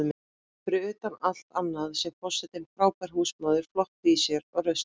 Fyrir utan allt annað sé forsetinn frábær húsmóðir, flott í sér og rausnarleg.